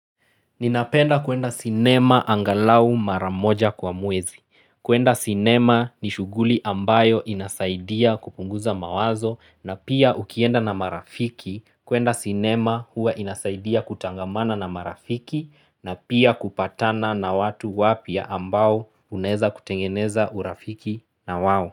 Ninapenda kuenda sinema angalau mara moja kwa mwezi. Kuenda sinema ni shughuli ambayo inasaidia kupunguza mawazo na pia ukienda na marafiki. Kuenda sinema huwa inasaidia kutangamana na marafiki na pia kupatana na watu wapya ambao unaeza kutengeneza urafiki na wao.